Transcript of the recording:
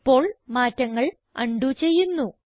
ഇപ്പോൾ മാറ്റങ്ങൾ അൺഡു ചെയ്യുന്നു